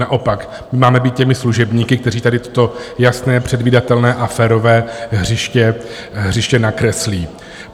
Naopak, my máme být těmi služebníky, kteří tady toto jasné, předvídatelné a férové hřiště nakreslí.